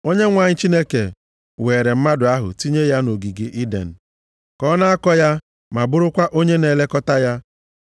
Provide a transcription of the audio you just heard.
Onyenwe anyị Chineke weere mmadụ ahụ tinye ya nʼogige Iden, ka ọ na-akọ ya ma bụrụkwa onye na-elekọta ya.